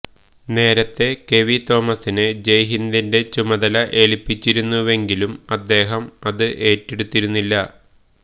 നേരത്തെ കെവി തോമസിനെ ജയ്ഹിന്ദിന്റെ ചുമതല ഏൽപ്പിച്ചിരുന്നുവെങ്കിലും അദ്ദേഹം അത് ഏറ്റെടുത്തിരുന്നില്ല